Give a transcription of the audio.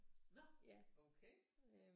Nå okay